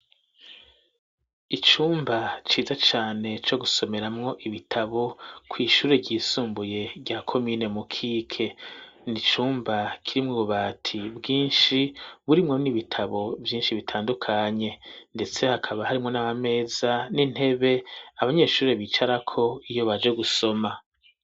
Icumba ciza cane co gusomeramwo ibitabo kw'ishuri ryisumbuye rya komine mu kiqe n'icumba kirimwo ubabati bwinshi burimwo n'ibitabo vyinshi bitandukanye ndetse hakaba harimwo n'amameza n'intebe abanyeshuri bicarako iyo baje gusoma